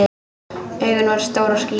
Augun voru stór og skýr.